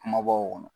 Kumabɔw kɔnɔ